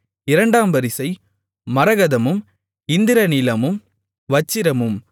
இரண்டாம் வரிசை மரகதமும் இந்திரநீலமும் வச்சிரமும்